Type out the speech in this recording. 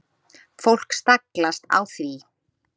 Fólk staglast á því.